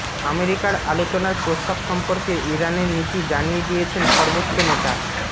আমেরিকার আলোচনার প্রস্তাব সম্পর্কে ইরানের নীতি জানিয়ে দিয়েছেন সর্বোচ্চ নেতা